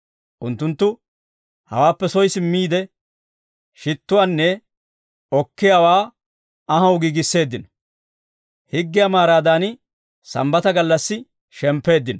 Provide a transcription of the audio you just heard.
Unttunttu hawaappe soy simmiide, shittuwaanne okkiyaawaa anhaw giigisseeddino. Higgiyaa maaraadan sambbata gallassi shemppeeddino.